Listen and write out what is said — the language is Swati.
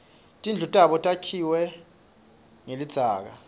tindlu tabo takhiwe nqelidzaka